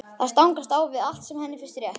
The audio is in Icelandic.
Það stangast á við allt sem henni finnst rétt.